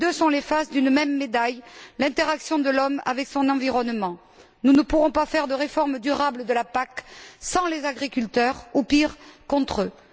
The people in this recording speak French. Les deux sont les faces d'une même médaille, l'interaction de l'homme avec son environnement. Nous ne pourrons pas faire de réforme durable de la PAC sans les agriculteurs ou, pire, contre eux.